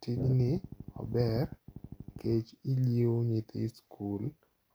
Tijni ober kech iliewo nyithi skul